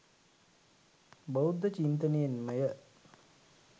බෞද්ධ චින්තනයෙන් ම ය.